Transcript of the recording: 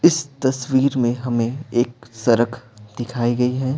इस तस्वीर में हमें एक सरक दिखाई गई है।